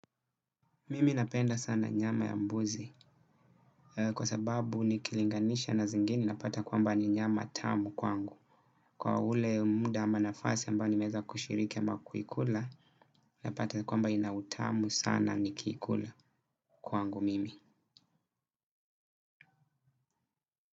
Mimi napenda sana nyama ya mbuzi kwa sababu ni kilinganisha na zingine napata kwamba ni nyama tamu kwangu. Kwa ule muda ama nafasi ambayo ni meweza kushiriki ama kuikula napata kwamba inautamu sana ni kiikula kwangu mimi.